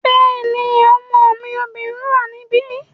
Bẹ́ẹ̀ni, ọmọ mi obìnrin wà níbí